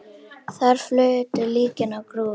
Þar flutu líkin á grúfu.